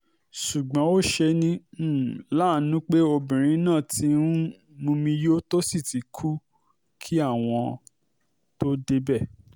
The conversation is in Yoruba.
ṣùgbọ́n ó ṣe ní um láàánú pé obìnrin náà ti um mumi yó tó sì ti kú kí àwọn tóó débẹ̀